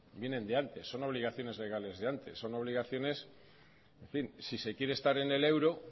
vienen de antes son obligaciones legales de antes son obligaciones en fin si se quiere estar en el euro